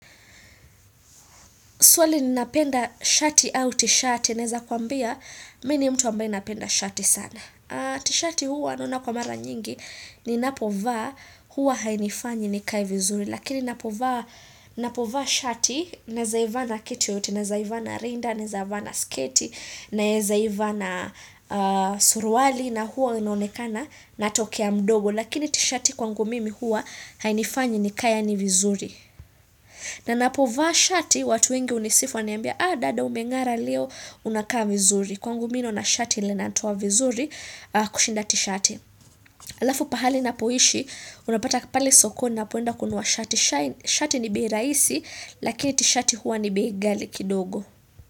Swali ni napenda shati au tishati, naweza kuambia, mimi ni mtu ambaye napenda shati sana. Tishati huwa naona kwa mara nyingi, ni napovaa huwa hainifanyi ni kae vizuri. Lakini ninapovaa shati nawezaivaa na kitu yoyote, nawezaivaana rinda, nawezaivaa na sketi, nawezaivaa na suluali, na huwa inaonekana na tokea mdogo. Lakini tishati kwangu mimi huwa hainifanyi ni kae yani vizuri. Na ninapovaa shati, watu wengi hunisifu waniambia, dada umeng'ara leo unakaa vizuri, kwangu mimi ninaona shati linanitoa vizuri kushinda tishati. Halafu pahali ninapoishi, unapata pale sokoni ninapoenda kununua shati, shati ni bei rahisi, lakini tishati huwa ni bei ghali kidogo.